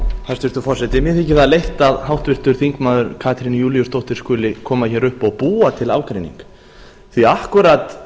hæstvirtur forseti mér þykir það leitt að háttvirtur þingmaður katrín júlíusdóttir skuli koma hér upp og búa til ágreining því að